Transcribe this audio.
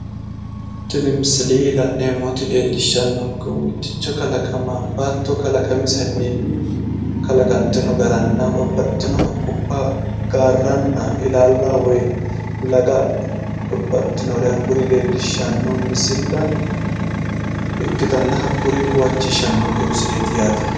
Tini misile la'neemmoti leellishshannokehu mitticho kalaqama baattio kalaqamisenni kalaqamisenni garanna babbaxxitino haqqubba gaarranna ilaalla woy laga babbaxxinore hakkuri leellishshanno misilla ikkitanna, hakkuri huwachishannonke misileeti yaate.